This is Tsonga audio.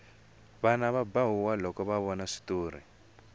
vana va ba huwa loko ho vona switori